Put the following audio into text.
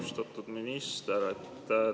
Austatud minister!